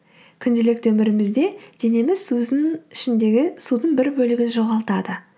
күнделікті өмірімізде денеміз өзінің ішіндегі судың бір бөлігін жоғалтады